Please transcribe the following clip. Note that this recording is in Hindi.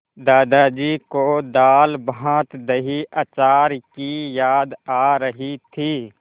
दादाजी को दालभातदहीअचार की याद आ रही थी